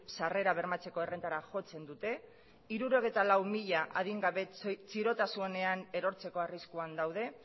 sarrera bermatzeko errentara jotzen dute hirurogeita lau mila adingabe txirotasunean erortzeko arriskuan daude